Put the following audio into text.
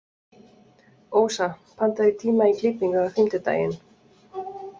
Ósa, pantaðu tíma í klippingu á fimmtudaginn.